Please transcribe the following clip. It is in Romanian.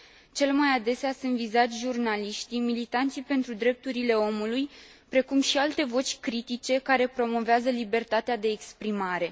Cel mai adesea sunt vizați jurnaliștii, militanții pentru drepturile omului, precum și alte voci critice care promovează libertatea de exprimare.